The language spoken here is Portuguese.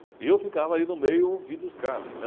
E eu ficava ali no meio ouvindo os caras.